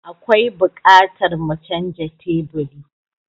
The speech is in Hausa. Akwai buƙatar mu canja teburi.